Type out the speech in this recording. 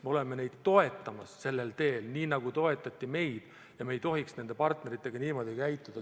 Me oleme neid toetamas sellel teel, nii nagu toetati meid, ja me ei tohiks nende partneritega niimoodi käituda.